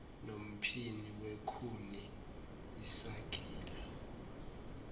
nomphini wekhuni isagila